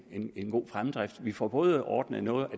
god fremdrift vi får både ordnet noget af